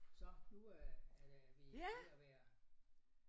Så nu øh er der er vi ved at være